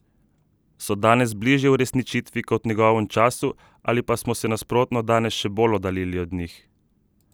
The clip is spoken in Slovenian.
So danes bližje uresničitvi kot v njegovem času ali pa smo se nasprotno danes še bolj oddaljili od njih?